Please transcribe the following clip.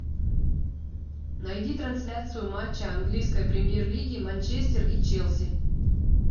найди трансляцию матча английской премьер лиги манчестер и челси